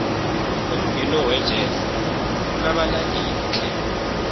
umbhino wejezi unabalandeli tle